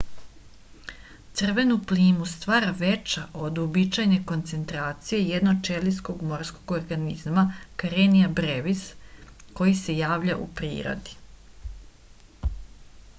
crvenu plimu stvara veća od uobičajene koncentracije jednoćelijskog morskog organizma karenia brevis koji se javlja u prirodi